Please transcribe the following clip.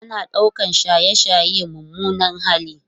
Ana ɗaukar shaye-shaye mummunan hali